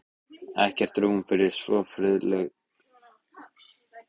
Ekkert rúm fyrir svo friðlausar hugleiðingar: ekki lengur.